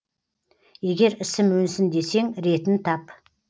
егер ісім өнсін десең ретін тап